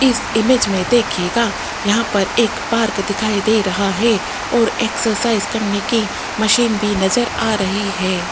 इस इमेज में देखिएगा यहां पर एक पार्क दिखाई दे रहा है और एक्सरसाइज करने की मशीन भी नजर आ रही है।